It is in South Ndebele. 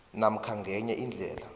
namkha ngenye indlela